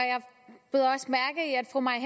fru mai